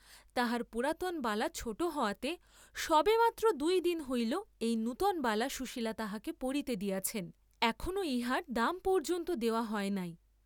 তাহার পুরাতন বালা ছােট হওয়াতে সবে মাত্র দুই দিন হইল এই নূতন বালা সুশীলা তাহাকে পরিতে দিয়াছেন, এখনো ইহার দাম পর্য্যন্ত দেওয়া হয় নাই।